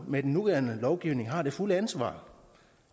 med den nuværende lovgivning har det fulde ansvar